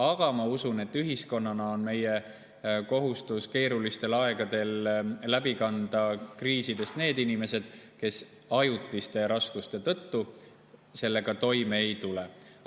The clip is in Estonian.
Aga ma usun, et ühiskonnana on meie kohustus keerulistel aegadel kriisidest läbi need inimesed, kes ajutiste raskuste tõttu toime ei tule.